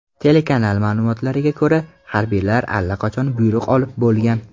Telekanal ma’lumotlariga ko‘ra, harbiylar allaqachon buyruq olib bo‘lgan.